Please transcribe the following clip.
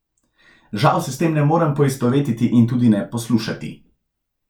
Žal se s tem ne morem poistovetiti in tudi ne poslušati.